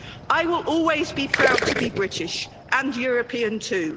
I will always be proud to be British, and European too.